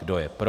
Kdo je pro?